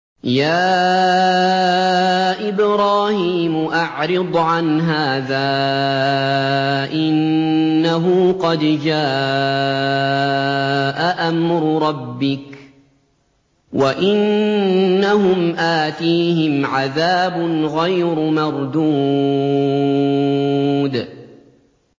يَا إِبْرَاهِيمُ أَعْرِضْ عَنْ هَٰذَا ۖ إِنَّهُ قَدْ جَاءَ أَمْرُ رَبِّكَ ۖ وَإِنَّهُمْ آتِيهِمْ عَذَابٌ غَيْرُ مَرْدُودٍ